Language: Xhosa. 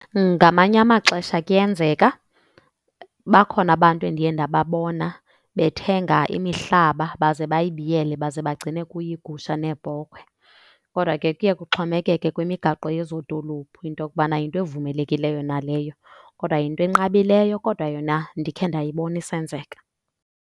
Ngamanye amaxesha kuyenzeka. Bakhona abantu endiye ndababona bethenga imihlaba baze bayibiyele baze bagcine kuyo iigusha neebhokhwe. Kodwa ke kuye kuxhomekeke kwimigaqo yezo dolophu into yokubana yinto evumelekileyo na leyo. Kodwa yinto enqabileyo kodwa yona ndikhe ndayibona isenzeka.